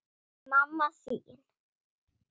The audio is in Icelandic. Mamma þín